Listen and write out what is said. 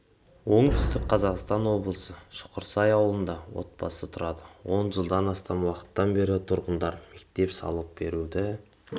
оңтүстік қазақстан облысы шұқырсай ауылында отбасы тұрады он жылдан астам уақыттан бері тұрғындар мектеп салып беруді